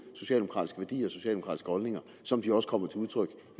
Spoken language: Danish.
socialdemokratiske værdier og socialdemokratiske holdninger som de også kommer til udtryk